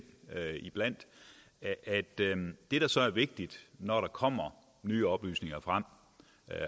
iblandt at det der så er vigtigt når der kommer nye oplysninger frem